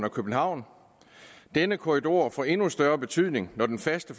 og københavn denne korridor får endnu større betydning når den faste